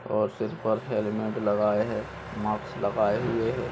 और सिर पर हेलमेट लगाये है मास्क लगाये हुए है।